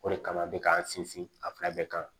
O de kama n bɛ k'an sinsin a fila bɛɛ kan